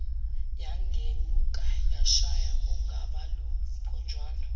yagenuka yashaya ugobaluphonjwana